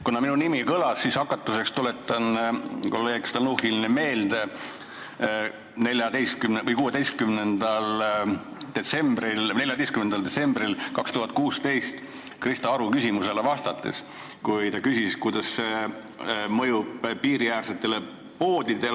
Kuna minu nimi kõlas, siis hakatuseks tuletan kolleeg Stalnuhhinile meelde, kuidas ta vastas 14. detsembril 2016 Krista Aru küsimusele, milline on mõju piiriäärsetele poodidele.